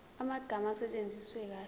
amagama asetshenziswe kahle